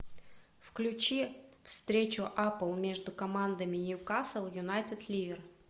включи встречу апл между командами ньюкасл юнайтед ливер